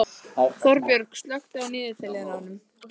Þorbjörg, slökktu á niðurteljaranum.